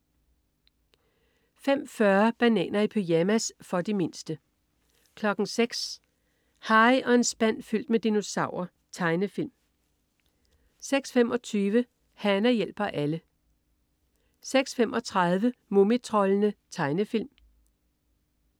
05.40 Bananer i pyjamas. For de mindste 06.00 Harry og en spand fyldt med dinosaurer. Tegnefilm 06.25 Hana hjælper alle 06.35 Mumitroldene. Tegnefilm